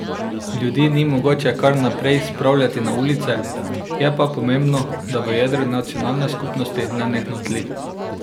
Ljudi ni mogoče kar naprej spravljati na ulice, je pa pomembno, da v jedru nacionalne skupnosti nenehno tli.